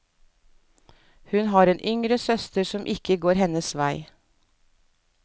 Hun har en yngre søster som ikke går hennes vei.